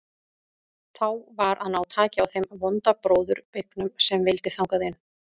Þá var að ná taki á þeim vonda bróður beygnum sem vildi þangað inn.